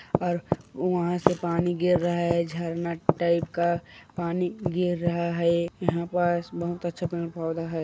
और वहाँ से पानी गिर रहा है झरना टाइप का पानी गिर रहा है यहाँ पास बहुत अच्छा पेड़ पौधा है।